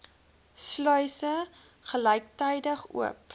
sluise gelyktydig oop